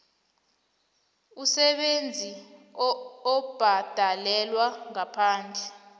umsebenzi obhadalelwako ngaphandle